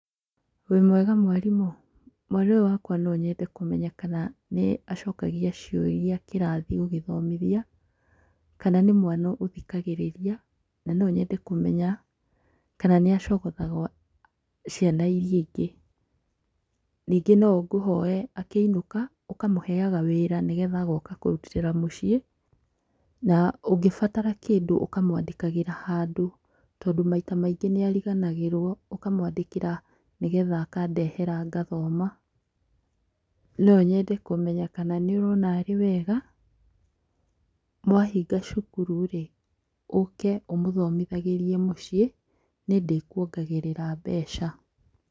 Wĩ mwega mwarimũ? Mwana ũyũ wakwa no nyende kũmenya kana nĩ acokagia ciũria kĩrathi ũgĩthomithia, kana nĩ mwana ũthikagĩrĩria, na no nyende kũmenya kana nĩ acogothaga ciana iria ingĩ. Ningĩ no ngũhoe akĩinũka, ũkamũheaga wĩra nĩgetha agoka kũrutĩra mũciĩ, na ũngĩbatara kĩndũ ũkamwandĩkagĩra handũ, tondũ maita maingĩ nĩ ariganagĩrwo. Ũkamwandĩkĩra nĩgetha akandehera ngathoma. No nyende kũmenya kana nĩũrona arĩ wega, mwahinga cukuru rĩ, ũke ũmũthomithagĩrie mũciĩ, nĩ ndĩkuongagĩrĩra mbeca.